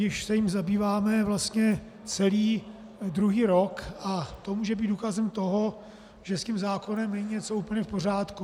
Již se jím zabýváme vlastně celý druhý rok a to může být důkazem toho, že s tím zákonem není něco úplně v pořádku.